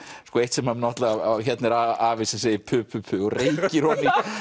eitt sem náttúrulega hér er afi sem segir pu pu pu og og